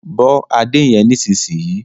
Bó ade yén nísìsiyìí!